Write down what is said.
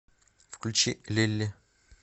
включи лилли